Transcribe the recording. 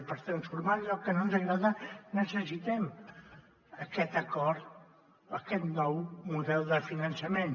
i per transformar allò que no ens agrada necessitem aquest acord aquest nou model de finançament